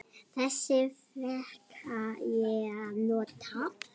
Þess fékk ég að njóta.